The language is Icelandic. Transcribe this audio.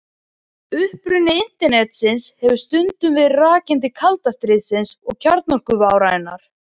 Uppruni Internetsins hefur stundum verið rakinn til kalda stríðsins og kjarnorkuvárinnar.